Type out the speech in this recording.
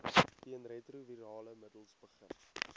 teenretrovirale middels begin